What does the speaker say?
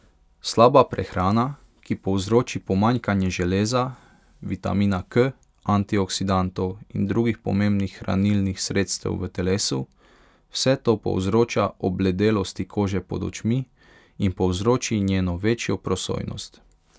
Slaba prehrana, ki povzroči pomanjkanje železa, vitamina K, antioksidantov in drugih pomembnih hranilnih sredstev v telesu, vse to povzroča obledelosti kože pod očmi in povzroči njeno večjo prosojnost.